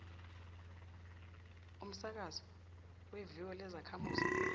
umsakazo weviyo lezakhamuzi